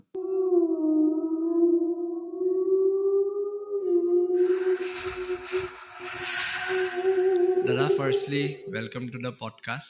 দাদা firstly welcome to the pod cast